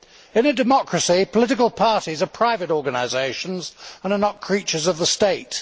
In a democracy, political parties are private organisations and are not creatures of the state